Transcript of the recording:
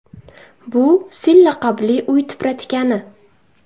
Bu Sil laqabli uy tipratikani.